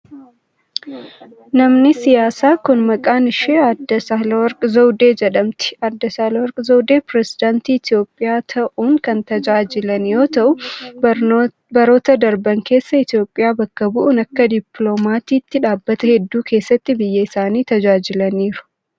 Namni siyaasaa kun, maqaan ishee Aaddee Saahilawarq Zawidee jedhamti. Aaddee Saahilawarq Zawdee pireezidantii Itoophiyaa ta'uun kan tajaajilan yoo ta'an, baroota darban keessa Itoophiyaa bakka bu'uun akka dippiloomaatiitti dhaabbata hedduu keessatti biyya isaanii tajaajilaniiru.